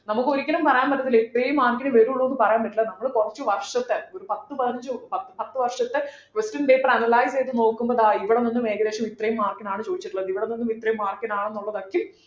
നമുക്ക് ഒരിക്കലും പറയാൻ പറ്റത്തില്ല ഇത്രയും mark നെ വരുള്ളൂ എന്ന് പറയാൻ പറ്റില്ല നമ്മൾ കുറച്ചു വർഷത്തെ ഒരു പത്തു പതിനഞ്ചു പത്തു വർഷത്തെ question paper analyse ചെയ്തു നോക്കുമ്പോൾ ദാ ഇവിടെനിന്ന് ഏകദേശം ഇത്രയും mark നാണ് ചോദിച്ചിട്ടുള്ളത് ഇവിടെ നിന്ന് ഇത്രയും mark നാണെന്നുള്ളത് ഒക്കെ